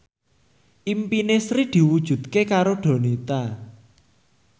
impine Sri diwujudke karo Donita